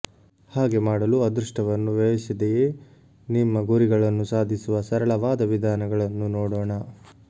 ಹಾಗೆ ಮಾಡಲು ಅದೃಷ್ಟವನ್ನು ವ್ಯಯಿಸದೆಯೇ ನಿಮ್ಮ ಗುರಿಗಳನ್ನು ಸಾಧಿಸುವ ಸರಳವಾದ ವಿಧಾನಗಳನ್ನು ನೋಡೋಣ